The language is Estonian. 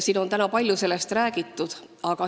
Täna on palju sellest räägitud.